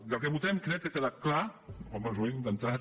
del que votem crec que ha quedat clar o almenys ho hem intentat